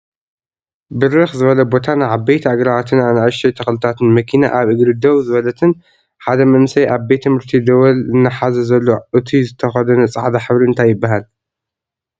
ብርክ ዝበለ ቦታን ዓበይቲ ኣግራባትን ኣናእሽተይ ተክልታትን መኪና ኣብ እግሪ ደው ዝበለትን ሓደ መንእሰይ ኣብ ቤት ትምህርቲ ደወል እናሓዛ ዘሎ እቱይ ዝተከደኖ ፃዕዳ ሕብሪ እንታይ ይብሃል?